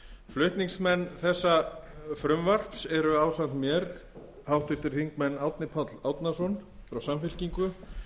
flutningsmenn þessa frumvarps eru ásamt mér háttvirtir þingmenn árni páll árnason frá samfylkingu